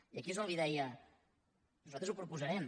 i aquí és on li deia nosaltres ho proposarem